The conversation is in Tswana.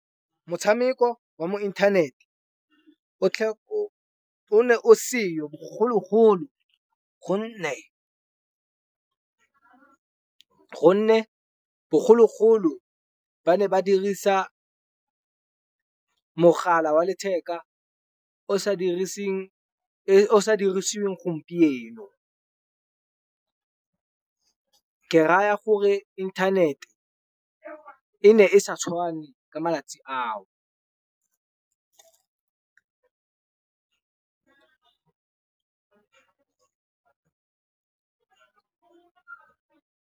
Motshameko wa mo inthanete o ne o seyo bogologolo gonne, gonne bogologolo ba ne ba dirisa mogala wa letheka o sa o sa dirisiweng gompieno. Ke raya gore inthanete e ne e sa tshwane ka malatsi ao.